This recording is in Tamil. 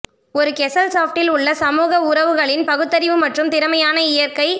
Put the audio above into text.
ஒரு கெஸல்சாஃப்டில் உள்ள சமூக உறவுகளின் பகுத்தறிவு மற்றும் திறமையான இயற்கை